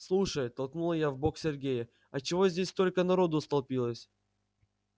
слушай толкнула я в бок сергея а чего здесь столько народу столпилось